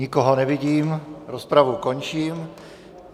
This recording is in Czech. Nikoho nevidím, rozpravu končím.